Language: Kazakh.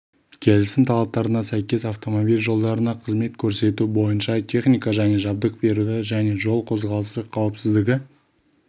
келісім талаптарына сәйкес автомобиль жолдарына қызмет көрсету бойынша техника және жабдық беруді және жол қозғалысы қауіпсіздігі